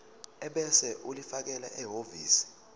ebese ulifakela ehhovisi